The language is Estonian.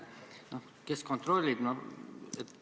Kes seda kontrollib?